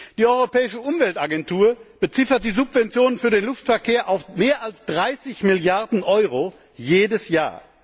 Die europäische Umweltagentur beziffert die Subventionen für den Luftverkehr auf mehr als 30 Milliarden Euro jedes Jahr.